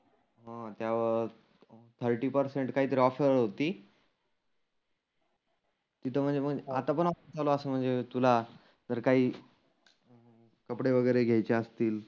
हं त्यावर thirty percent काही ऑफर होती तीथं म्हणजे म्हण आता पण ऑ‍ मला असं म्हणजे तुला जर काही कपडे वगैरे घ्यायचे असतील